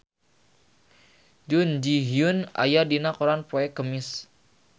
Jun Ji Hyun aya dina koran poe Kemis